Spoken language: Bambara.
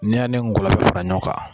N'i y'a ne mun gilan ka fara ɲɔgɔn kan